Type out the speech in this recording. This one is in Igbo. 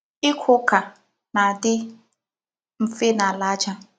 Ịkụ ụ́ka na adị mfe n’ala aja.